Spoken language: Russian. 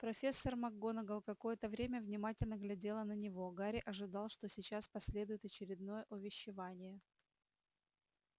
профессор макгонагалл какое-то время внимательно глядела на него гарри ожидал что сейчас последует очередное увещевание